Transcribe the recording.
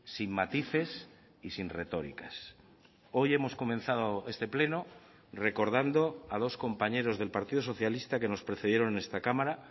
sin matices y sin retóricas hoy hemos comenzado este pleno recordando a dos compañeros del partido socialista que nos precedieron en esta cámara